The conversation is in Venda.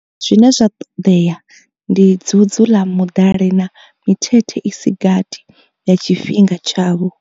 Zwine zwa ṱoḓea ndi dzudzu ḽa muḓali na mithethe i si gathi ya tshi fhinga tshavho.